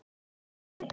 Högni